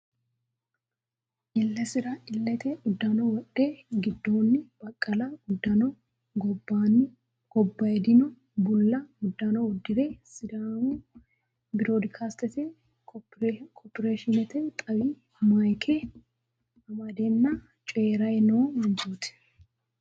Illesira illete uddano wodhe giddoonni baqqala uddano gobbayidoonni bulla uddano uddire sidaamu birodikasstinge korporeshiinete xaawi maayke amandeenna cooyray no manchiooti.